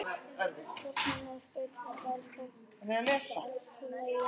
Þú hjálpar mér að skreyta þetta, elskan, þú ert alltaf svo lagin.